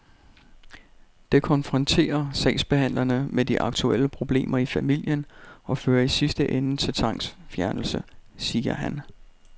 Det konfronterer sagsbehandlerne med de aktuelle problemer i familien og fører i sidste ende til tvangsfjernelse, siger han.